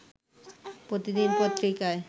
প্রতিদিন পত্রিকায়